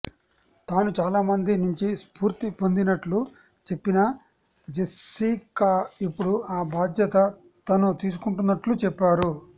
తాను చాలా మంది నుంచి స్ఫూర్తి పొందింనట్లు చెప్పిన జెస్సికా ఇప్పుడు ఆ బాధ్యత తను తీసుకుంటున్నట్లు చెప్పారు